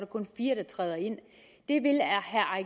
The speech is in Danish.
kun fire der træder ind